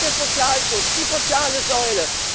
Wo bleibt der Sozialschutz, die soziale Säule?